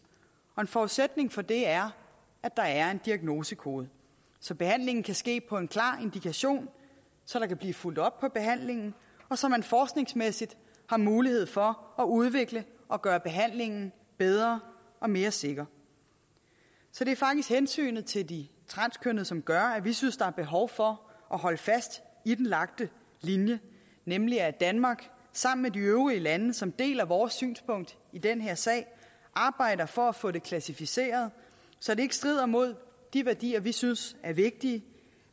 en forudsætning for det er at der er en diagnosekode så behandlingen kan ske på en klar indikation så der kan blive fulgt op på behandlingen og så man forskningsmæssigt har mulighed for at udvikle og gøre behandlingen bedre og mere sikker så det er faktisk hensynet til de transkønnede som gør at vi synes der er behov for at holde fast i den lagte linje nemlig at danmark sammen med de øvrige lande som deler vores synspunkt i den her sag arbejder for at få det klassificeret så det ikke strider mod de værdier vi synes er vigtige